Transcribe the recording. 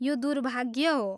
यो दुर्भाग्य हो।